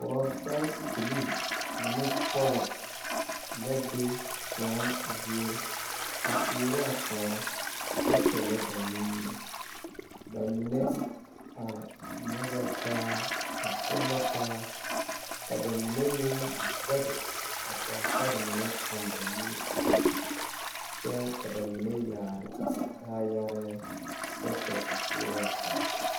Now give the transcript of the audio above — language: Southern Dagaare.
Die poɔ la a kyɛ o poɔ waa la kpoŋ lɛ a die zusɔga taa la kyaani noba yaga la be a die poɔ ba mine kyɛnɛ yiri la ba mine arɛɛ la ba mi.e yɛre la woore ba mɛ la wɛdoŋkpoŋ ka o are a die